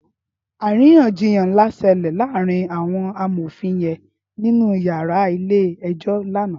Árinyànjiyán nlá ṣèlè làárin áwòn àmófin yèn ninú iyàrá ilé èjò làná